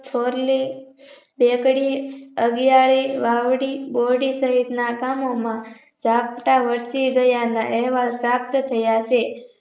ફોરલી બેકડી અગિયારી વાવડી બોરડી સહિતના ગામોમાં ઝાપટા વર્ષી ગયાના અહેવાલ પ્રાપ્ત થયા છે